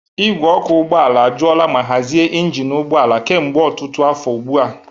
Ìgwè ọkụ ụgbọ ala ajụola ma hazie injin ụgbọ ala kemgbe ọtụtụ afọ ugbu a.